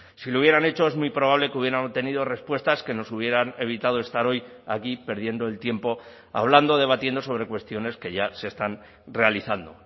si lo hubieran hecho es muy probable que hubieran tenido respuestas que nos hubieran evitado estar hoy aquí perdiendo el tiempo hablando debatiendo sobre cuestiones que ya se están realizando